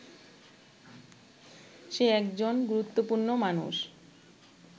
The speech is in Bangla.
সে একজন গুরুত্বপূর্ণ মানুষ